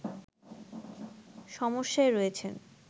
সমস্যায় রয়েছেন